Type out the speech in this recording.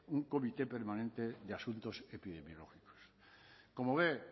un comité permanente de asuntos epidemiológicos como ve